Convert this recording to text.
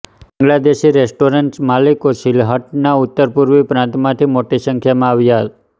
Bangladeshi restaurants માલિકો સિલ્હટના ઉત્તરપૂર્વી પ્રાંતમાંથી મોટી સંખ્યામાં આવ્યા